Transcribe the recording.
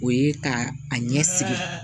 O ye ka a ɲɛ siri